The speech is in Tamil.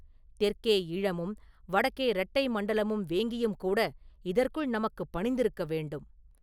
தெற்கே ஈழமும் வடக்கே ரெட்டை மண்டலமும் வேங்கியும் கூட இதற்குள் நமக்குப் பணிந்திருக்க வேண்டும்.